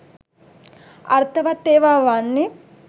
අර්ථවත් ඒවා වන්නේ